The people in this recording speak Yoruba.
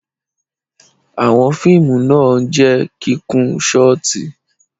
Àwọn fiimu na jẹ i kikun shọti